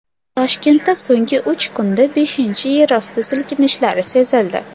Toshkentda so‘nggi uch kunda beshinchi yerosti silkinishlari sezildi.